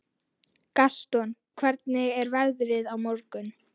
Gaston, hvernig er veðrið á morgun?